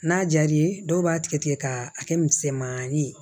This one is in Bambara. N'a diyar'i ye dɔw b'a tigɛ tigɛ k'a kɛ misɛmani ye